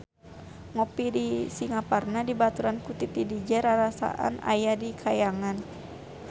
Ngopi di Singaparna dibaturan ku Titi DJ rarasaan aya di kahyangan